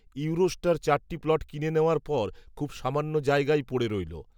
Eurostar চারটি plot কিনে নেওয়ার পর, খুব সামান্য জায়গাই পড়ে রইল